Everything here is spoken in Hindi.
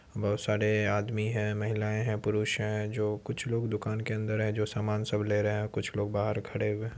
बहुत सारे आदमी हैं महिलाए हैं पुरुष हैं जो कुछ लोग दुकान के अंदर है जो सामान सब ले रहे हैं और कुछ लोग बाहर खड़े हुए हैं।